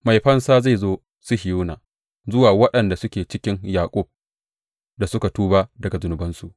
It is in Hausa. Mai fansa zai zo Sihiyona, zuwa waɗanda suke cikin Yaƙub da suka tuba daga zunubansu,